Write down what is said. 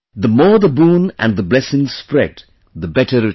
The more the boon and the blessings spread, the better it is